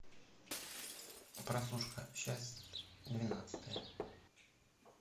прослушка часть двенадцатая